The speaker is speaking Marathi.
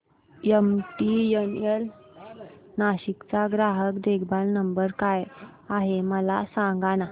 एमटीएनएल नाशिक चा ग्राहक देखभाल नंबर काय आहे मला सांगाना